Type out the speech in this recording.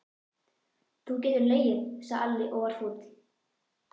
Þú getur hlegið, sagði Alli og var fúll.